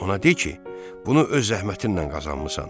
Ona de ki, bunu öz zəhmətinlə qazanmısan.